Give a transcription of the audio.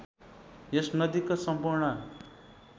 यस नदीको सम्पूर्ण